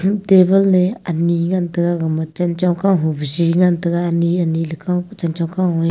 table le ani ngan taiga gama chanchong kaho pa jhi ngan taiga ani ani lekaw pu chanchong kaw e